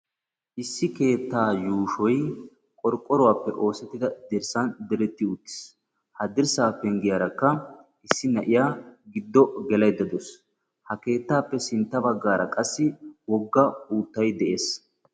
issi keettaa yuushoy qorqqoruwappe oosettida dirssan diretti uttiis. Ha dirsaa pengiyarakka issi na'iya giddo gelaydda dawusu. ha keettaappe sintta bagaara qassi woga uuttay de'ees.